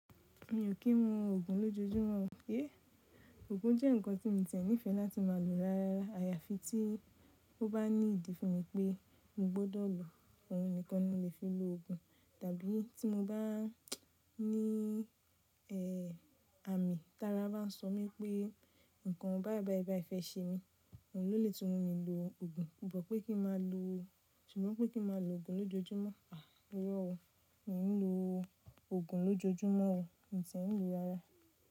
Mi ò kí ń mu òògùn lójoojúmọ́ o. Yé òògùn jẹ́ ǹnkan tí mi n tiẹ̀ nifẹ́e láti má a lò rárára. Àyàfi tí ó bá ní ìdí fún mi pé mo gbọ́dọ̀ lò, òun nìkan ni mo lè fi lo òògùn. Tàbí tí mo bá ní àmì tí ara bá sọ mí pé ǹnkan báìbàibaí fẹ́ ṣe mi, òun ló lè tún mi lò òògùn. But pé kí má a lò, ṣùgbọ́n pé kí má a lò òògùn lójoojúmọ́. Ìrọ̀ o, mi ò ní lo òògùn lójoojúmọ́ o. Mo tiẹ̀ n lo rárá.